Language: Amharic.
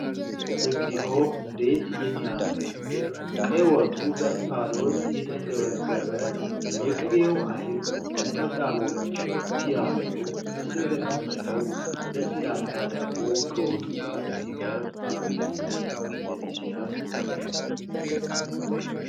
እግዚኦ! እንዴት የሚያምር ምግብ! ቀይ ወጡ በእንፋሎት እየተንገበገበ ነው። የቅቤው አይብ ነጠብጣቦች ሲያምሩ! ከስር የተቀመጠው ለስላሳ ዳቦ ከወጡ ጋር ሲቀርብ አቤት! እንዴት ሲያስጎመዥ!